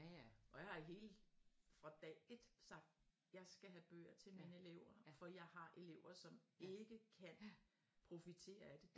Og jeg har hele fra dag ét sagt jeg skal have bøger til mine elever for jeg har elever som ikke kan profitere af det